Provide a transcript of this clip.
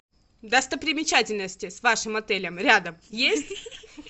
достопримечательности с вашим отелем рядом есть